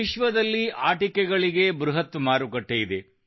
ವಿಶ್ವದಲ್ಲಿ ಆಟಿಕೆಗಳಿಗೆ ಬೃಹತ್ ಮಾರುಕಟ್ಟೆಯಿದೆ